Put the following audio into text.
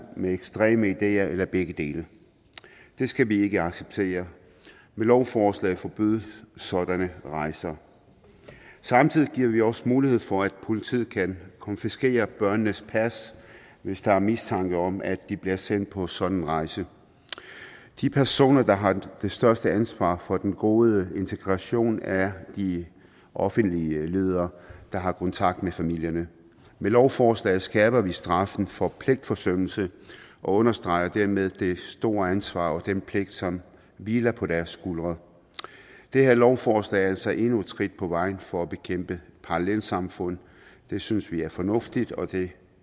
med ekstreme ideer eller begge dele det skal vi ikke acceptere med lovforslaget forbydes sådanne rejser samtidig giver vi også mulighed for at politiet kan konfiskere børnenes pas hvis der er mistanke om at de bliver sendt på sådan en rejse de personer der har det største ansvar for den gode integration er de offentlige ledere der har kontakt med familierne med lovforslaget skærper vi straffen for pligtforsømmelse og understreger dermed det store ansvar og den pligt som hviler på deres skuldre det her lovforslag er altså endnu et skridt på vejen for at bekæmpe parallelsamfund det synes vi er fornuftigt og det